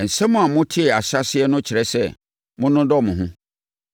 Nsɛm a motee ahyɛaseɛ no kyerɛ sɛ, monnodɔ mo ho.